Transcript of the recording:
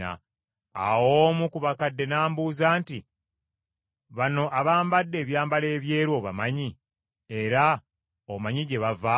Awo omu ku bakadde n’ambuuza nti, “Bano abambadde ebyambalo ebyeru obamanyi, era omanyi gye bava?”